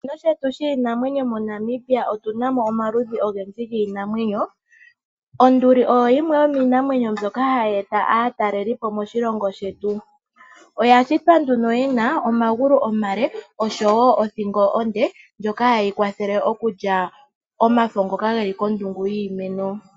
Moshikunino shetu shiinamwenyo moNamibia otuna mo omaludhi ogendji giinamwenyo. Onduli oyo yimwe yomiinamwenyo mbyoka hayi eta aatalelipo moshilongo shetu. Oyashitwa nduno yina omagulu omale oshowo othingo onde ndjoka hayiyi kwathele okulya omafo ngoka geli kondungu yiimeno.